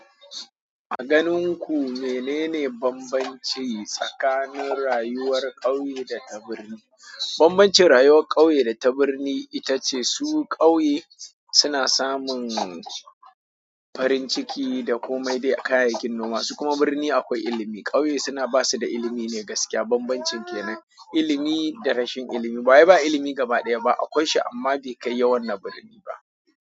A ganin ku menene bambanci tsakanin rayuwar ƙauye da ta birni? Bambancin rayuwar ƙauye data birni itace su ƙauye suna samun farin ciki da komai dai kayayyakin noma, su kuma birni akwai ilimi. Ƙauye suna basu da ilimi ne gaskiya bambancin kenan, ilimi da rashin ilimi. Bawai ba ilimi gaba ɗaya ba akwai shi amma bai kai yawan na birni ba.